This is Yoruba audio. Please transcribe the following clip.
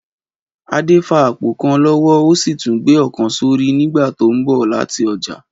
Adé fa àpò kan lọ́wọ́ ó sì tún gbé ọ̀kan sórí nígbà tó ń bọ̀ láti ọjà